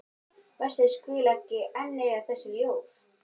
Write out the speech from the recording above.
Verst að ég skuli ekki enn eiga þessi ljóð.